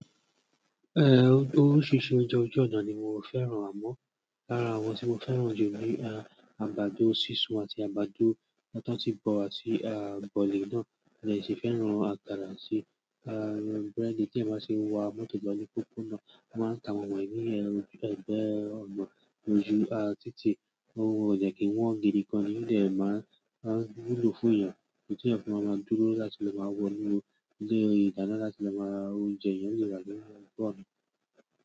Eh oríṣiríṣi oúnjẹ ojú ọ̀nà ni mo fẹ́ràn amọ̀ lára àwọn tí mo fẹ́ràn jù ni àgbàdo sísun àti àgbàdo èyí tiwọn ti bọ àti bọ̀lì náà modẹ tún fẹ́ràn àgbàdo àti búrẹ́dì tí eeyan bá tì wá mọ́tò ìgbàní pópó náà, wọn máa ń ta àwọn wọ̀nyí ẹgbẹ́ ọ̀nà ojú ah títí ohun ò jẹ́ kí wọ́n gé irú kan ni yóò dẹ̀ máa ń gbúlò fún ìyẹn kí ìyẹn fi máa dúró láti lọ máa wọ inú ilé ìdáná láti lọ máa ra oúnjẹ ìyẹn yóò gbà kí wọ́n bọ̀ ọ́